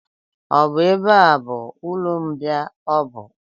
Ọ bụ ebe a bụ ụlọmbịa ọbụ?